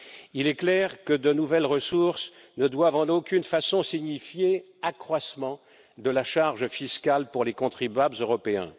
Il est clair que l'octroi de nouvelles ressources ne doit en aucune façon impliquer un accroissement de la charge fiscale pour les contribuables européens.